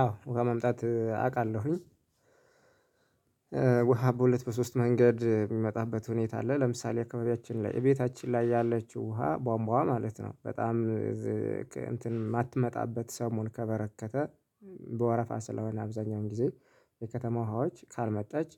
አዎ ውሃ መምጣት አውቃለሁኝ። ውሃ በሁለት በሶስት መንገድ የሚመጣበት ሁኔታ አለ። ለምሳሌ አካባቢያችን ላይ እቤታችን ላይ ያለችው ውሃ ቧንቧ ውሃ ማለት ነው። በጣም እንትን የማትመጣበት ሰሞን ከበረከተ በወረፋ ስለሆነ አብዛኛውን ጊዜ። የከተማ ውሃዎች ካልመጣች